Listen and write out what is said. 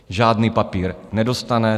Žádný papír nedostane.